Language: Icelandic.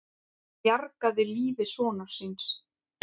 Bjargaði lífi sonar síns